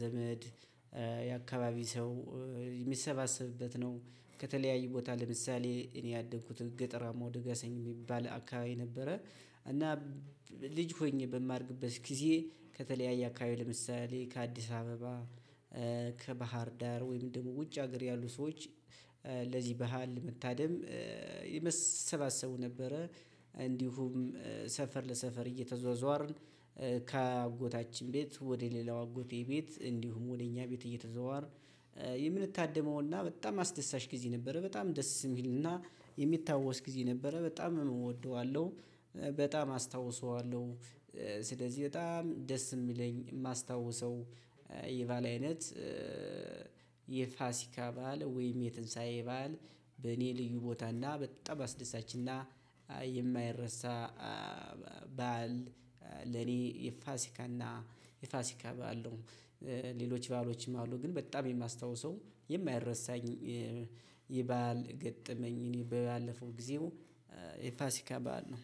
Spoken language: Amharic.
ዘመድ የአካባቢ ሰው የሚሰባሰብበት ነው። ከተለያዩ ቦታ ለምሳሌ እኔ ያደኩት ገጠራማ ወደ ገሰኝ የሚባል አካባቢ ነበረ። እና ልጅ ሆኜ በማድግበት ጊዜ ከተለያየ አካባቢ ለምሳሌ ከአዲስ አበባ፣ ከባህርዳር ወይም በግሞ ውጭ ሀገር ያሉ ሰዎች ባህል ለመታደም ይመሰባሰቡ ነበረ። እንዲሁም ሰፈር ለሰፈር እየተዟዟርን ከአጎታችን ቤት ወደ ሌላው አጎቴ ቤት እንዲሁም ወደ እኛ ቤት እየተዟዟርን የምንታደመውና በጣም አስደሳች ጊዜ ነበረ በጣም ደስ የሚልና የሚታወስ ጊዜ ነበረ በጣም እወደዋለሁ። በጣም አስታውሰዋለሁ። ስለዚህ በጣም ደስ የሚለኝ የማስታውሰው የበአል አይነት የፋሲካ በዓል ወይም የትንሳኤ ባል በኔ ልዩ ቦታና በጣም አስደሳችና የማይረሳ በዓል ለኔ የፋሲካና የፋሲካ በዓል ነው ሌሎች በአሎችም አሉ ግን በጣም የማስታውሰው የማይረሳኝ የበአል ገጠመኝ እኔ ባለፈው ጊዜው የፋሲካ በዓል ነው።